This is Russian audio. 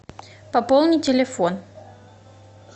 пополни телефон